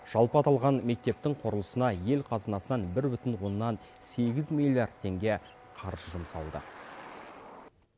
жалпы аталған мектептің құрылысына ел қазынасынан бір бүтін оннан сегіз миллиард теңге қаржы жұмсалды